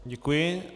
Děkuji.